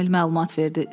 Emil məlumat verdi.